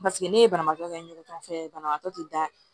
ne ye banabaatɔ kɛ n yɛrɛ tɔnfɛ banabaatɔ tɛ da